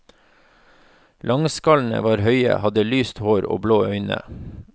Langskallene var høye, hadde lyst hår og blå øyne.